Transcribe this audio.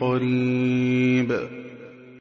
قَرِيبٌ